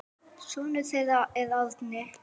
Sonur þeirra er Árni.